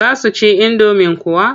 Za su ci indomin kuwa?